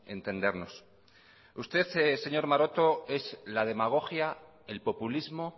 entendernos usted señor maroto es la demagogia el populismo